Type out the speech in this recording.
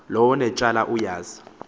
lowo unetyala uyazi